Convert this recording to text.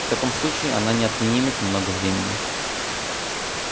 в таком случае она не отнимет много времени